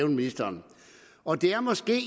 ministeren og det er måske